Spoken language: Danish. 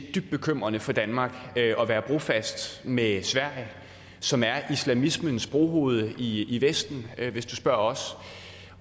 er dybt bekymrende for danmark at være brofast med sverige som er islamismens brohoved i i vesten hvis du spørger os